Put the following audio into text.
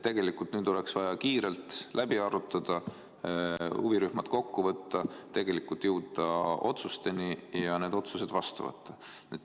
Tegelikult oleks vaja kiirelt läbi arutada, huvirühmad kokku võtta, jõuda otsusteni ja need otsused vastu võtta.